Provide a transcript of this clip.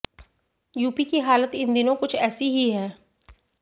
UP की हालत इन दिनों कुछ ऐसी ही है